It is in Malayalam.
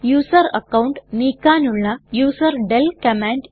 യൂസർ അക്കൌണ്ട് നീക്കാനുള്ള യൂസർഡെൽ കമാൻഡ്